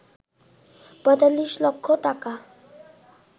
৪৫ লক্ষ টাকা